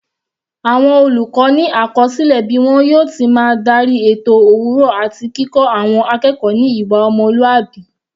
Àwọn olùkọ́ ni àkọsílẹ bí wọn yóò ti máa darí ètò òwúrọ̀ àti kíkọ́ àwọn akẹ́kọ̀ọ́ ní ìwà ọmọlúwàbí.